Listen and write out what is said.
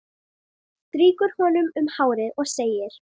Strýkur honum um hárið og segir